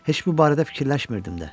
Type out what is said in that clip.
Heç bu barədə fikirləşmirdim də.